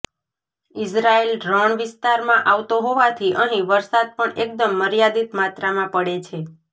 Israel રણ વિસ્તારમાં આવતો હોવાથી અહીં વરસાદ પણ એકદમ મર્યાદિત માત્રામાં પડે છે